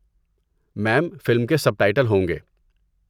میم، film کے subtitle ہوں گے۔